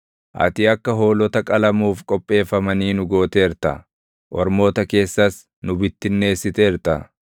Ati akka hoolota qalamuuf qopheeffamanii nu gooteerta; ormoota keessas nu bittinneessiteerta.